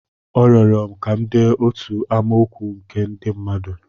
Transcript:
Ọ rịọrọ m ka m dee otu amaokwu nke ndị mmadụ.